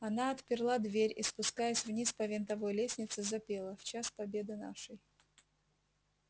она отперла дверь и спускаясь вниз по винтовой лестнице запела в час победы нашей